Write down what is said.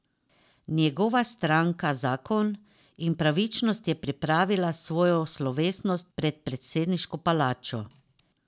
Njegova stranka Zakon in pravičnost je pripravila svojo slovesnost pred predsedniško palačo.